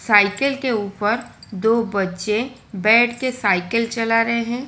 Cycle के ऊपर दो बच्चे बैठ के साइकिल चला रहे हैं।